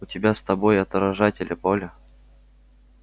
у тебя с собой отражатели поля